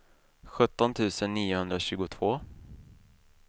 sjutton tusen niohundratjugotvå